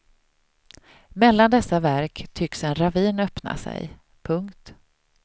Mellan dessa verk tycks en ravin öppna sig. punkt